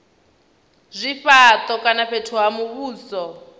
zwifhato kana fhethu ha muvhuso